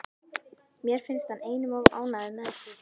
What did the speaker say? Mér finnst hann einum of ánægður með sig.